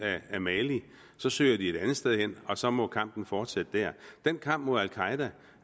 af mali så søger de et andet sted hen og så må kampen fortsætte der den kamp mod al qaeda